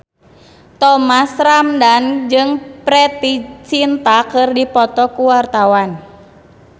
Thomas Ramdhan jeung Preity Zinta keur dipoto ku wartawan